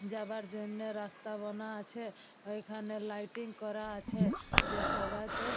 যাবার জন্য রাস্তা বোনা আছে। এখানে লাইটিং করা আছে। যা সবাই তে--